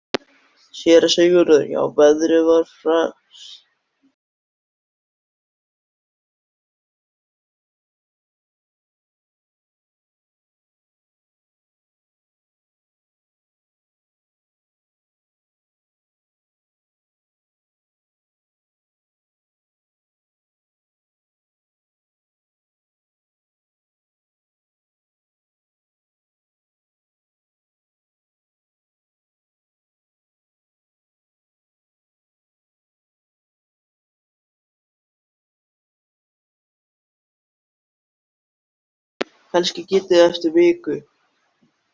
Kannski get ég það eftir viku.